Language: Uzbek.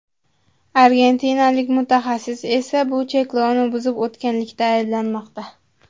Argentinalik mutaxassis esa bu cheklovni buzib o‘tganlikda ayblanmoqda.